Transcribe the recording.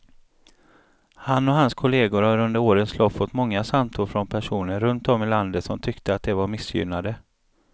Han och hans kolleger har under årens lopp fått många samtal från personer runt om i landet som tyckte att de var missgynnade.